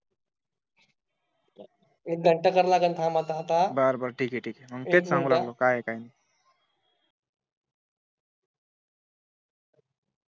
एक घंटा कारण आता थांबा आता बरोबर ठीक आहे ठीक आहे सांगू लागलो काय आहे काय नाही